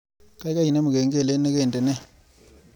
Gaigai inemu kengelet negandene